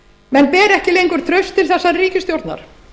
menn bara ekki lengur traust til þessarar ríkisstjórnar